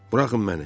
Buraxın məni.